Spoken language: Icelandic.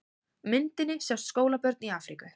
Á myndinni sjást skólabörn í Afríku.